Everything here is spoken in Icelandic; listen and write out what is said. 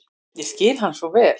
Ég skil hann svo vel.